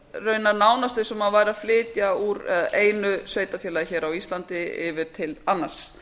raunar nánast eins og maður væri að flytja úr einu sveitarfélagi á íslandi yfir til annars